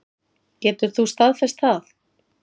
Getur þú staðfest það?